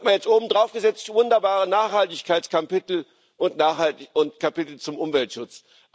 Dann hat man jetzt obendrauf gesetzt wunderbare Nachhaltigkeitskapitel und Kapitel zum Umweltschutz.